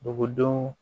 Dugudenw